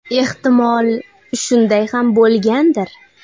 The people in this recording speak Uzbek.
Ehtimol, shunday ham bo‘lgandir.